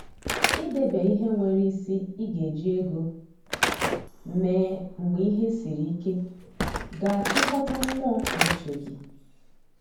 I debe ihe nwere isi I ga eji ego mee mgbe ihe siri ike ga a chịkọta mmụọ na uche gi